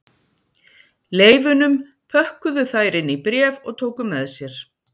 Leifunum pökkuðu þær inn í bréf og tóku með sér